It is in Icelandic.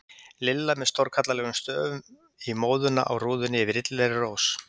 LILLA með stórkallalegum stöfum í móðuna á rúðunni yfir illilegri rós.